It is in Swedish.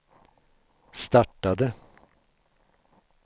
startade